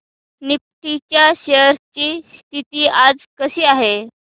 Nifty च्या shares ची स्थिती आज कशी आहे